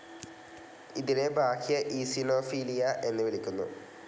ഇതിനെ ബാഹ്യ ഈസിനോഫിലിയ എന്ന് വിളിക്കുന്നു.